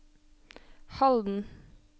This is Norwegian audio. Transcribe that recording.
Halden